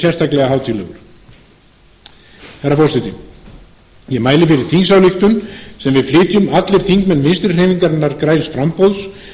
sérstaklega hátíðlegur herra forseti ég mæli fyrir þingsályktun sem við flytjum allir þingmenn vinstri hreyfingarinnar græns framboðs